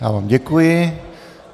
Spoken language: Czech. Já vám děkuji.